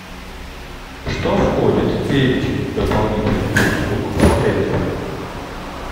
что входит в перечень дополнительных услуг в отеле